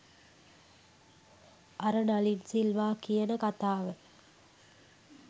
අර නලින් සිල්වා කියන කතාව